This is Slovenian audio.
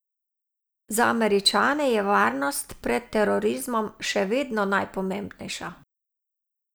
Za Američane je varnost pred terorizmom še vedno najpomembnejša.